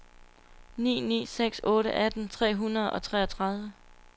ni ni seks otte atten tre hundrede og treogtredive